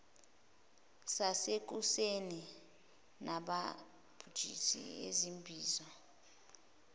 sasekuseni nabamabhizinisi izimbizo